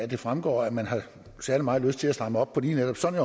det fremgår at man har særlig meget lyst til at stramme op på lige netop sådan